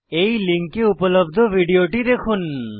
এই লিঙ্কে উপলব্ধ ভিডিওটি দেখুন